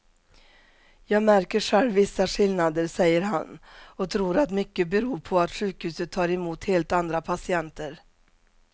Jag märker själv vissa skillnader, säger han och tror att mycket beror på att sjukhuset tar emot helt andra patienter.